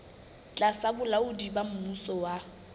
tlasa bolaodi ba mmuso wa